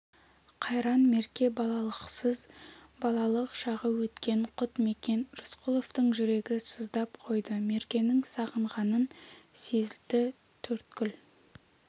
қайран мерке балалықсыз балалық шағы өткен құт мекен рысқұловтың жүрегі сыздап қойды меркені сағынғанын сезді төрткүл